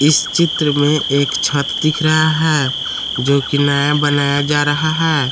इस चित्र में एक छत दिख रहा है जो कि नया बनाया जा रहा है।